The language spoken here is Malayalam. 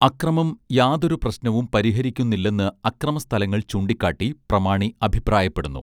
അക്രമം യാതൊരു പ്രശ്നവും പരിഹരിക്കുന്നില്ലെന്ന് അക്രമ സ്ഥലങ്ങൾ ചൂണ്ടിക്കാട്ടി പ്രമാണി അഭിപ്രായപ്പെടുന്നു